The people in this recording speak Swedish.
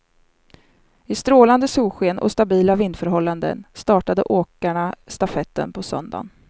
I strålande solsken och stabila vindförhållanden startade åkarna stafetten på söndagen.